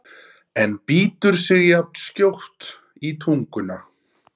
en bítur sig jafnskjótt í tunguna.